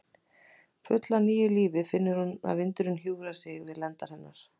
Full af nýju lífi finnur hún að vindurinn hjúfrar sig við lendar hennar.